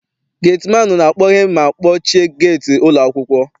Geti maanụ na-akpọghe ma kpọchie geeti ụlọ akwụkwọ.